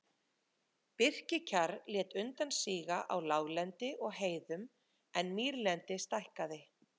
Birkikjarr lét undan síga á láglendi og heiðum en mýrlendi stækkaði.